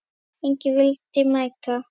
Enginn vildi mæta.